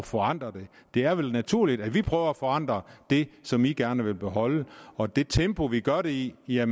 forandre det det er vel naturligt at vi prøver at forandre det som de gerne vil beholde og det tempo vi gør det i i er